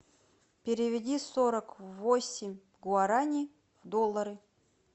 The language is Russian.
переведи сорок восемь гуарани в доллары